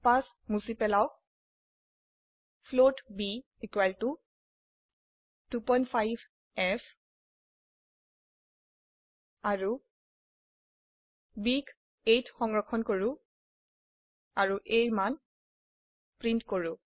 5 মুছি পেলাওক float b equal to 25ফ আৰু b ক a ত সংৰক্ষণ কৰো আৰু a ৰ মান প্ৰিন্ট কৰো